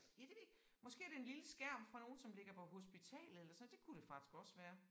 Ja det ved jeg ikke måske er det en lille skærm fra nogen som ligger på hospitalet eller så det kunne det faktisk også være